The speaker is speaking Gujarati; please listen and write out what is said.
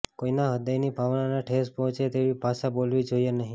કોઈના હ્યદયની ભાવનાને ઠેસ પહોંચે તેવી ભાષા બોલવી જોઈએ નહીં